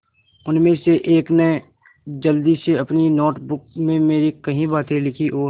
उनमें से एक ने जल्दी से अपनी नोट बुक में मेरी कही बातें लिखीं और